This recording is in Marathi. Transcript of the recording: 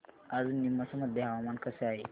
आज नीमच मध्ये हवामान कसे आहे